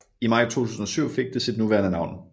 I maj 2007 fik det sit nuværende navn